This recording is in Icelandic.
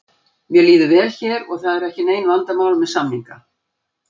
Mér líður vel hér og það eru ekki nein vandamál með samninga.